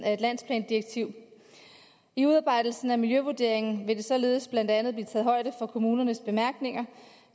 af et landsplandirektiv i udarbejdelsen af miljøvurderingen vil der således blandt andet blive taget højde for kommunernes bemærkninger